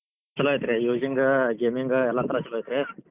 ಛಲೋ ಐತ್ರೀ using gaming ಎಲ್ಲಾ ತರಾ ಛಲೋ ಐತ್ರೀ.